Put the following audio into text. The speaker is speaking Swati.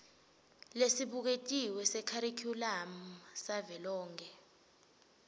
lesibuketiwe sekharikhulamu savelonkhe